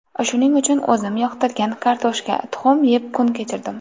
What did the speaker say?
Shuning uchun o‘zim yoqtirgan kartoshka, tuxum yeb kun kechirdim.